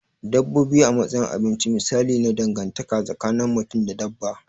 Dabbobi a matsayin abinci misali ne na dangantaka tsakin mutum da dabba.